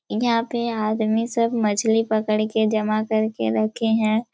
यहाँ पे आदमी सब मछली पकड़ के जमा करके रखे है।